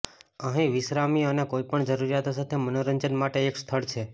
અહીં વિશ્રામી અને કોઈપણ જરૂરિયાતો સાથે મનોરંજન માટે એક સ્થળ છે